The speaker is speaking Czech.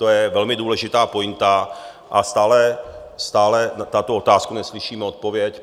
To je velmi důležitá pointa a stále na tuto otázku neslyšíme odpověď.